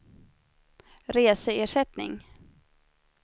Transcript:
reseersättning